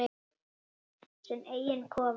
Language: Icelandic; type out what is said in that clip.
Sinn eiginn kofa.